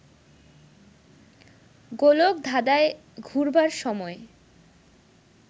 গোলক ধাঁধায় ঘুরবার সময়